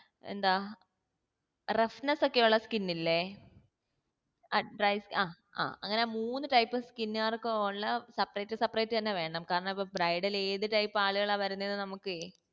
എന്താ roughness ഒക്കെ ഉള്ള skin ഇല്ലേ ആഹ് ആഹ് ആ അങ്ങനെ മൂന്ന് type skin കാർക്കുള്ള separate seperate അന്നെ വേണം കാരണം ഇപ്പൊ bridal ഏത് ആളുകളാ വരുന്നത് നമ്മക്കെ